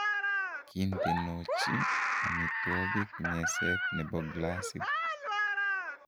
kiintenochi amitwogik meset nebo glasit